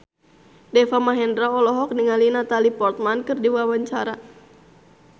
Deva Mahendra olohok ningali Natalie Portman keur diwawancara